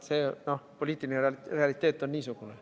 Poliitiline realiteet on niisugune.